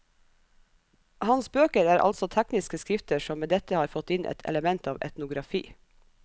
Hans bøker er altså tekniske skrifter som med dette har fått inn et element av etnografi.